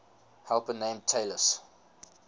helper named talus